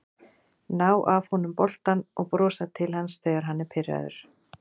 Ná af honum boltann og brosa til hans þegar hann er pirraður